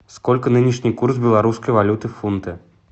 сколько нынешний курс белорусской валюты в фунты